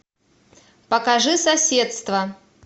покажи соседство